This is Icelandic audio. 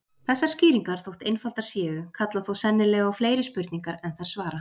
Þessar skýringar, þótt einfaldar séu, kalla þó sennilega á fleiri spurningar en þær svara.